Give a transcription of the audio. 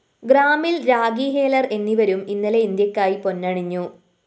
ഗ്രാമില്‍ രാഖി ഹേലര്‍ എന്നിവരും ഇന്നലെ ഇന്ത്യക്കായി പൊന്നണിഞ്ഞു